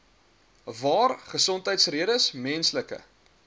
waar gesondheidsredes menslike